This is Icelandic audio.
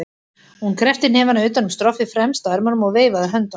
Hún kreppti hnefana utan um stroffið fremst á ermunum og veifaði höndunum.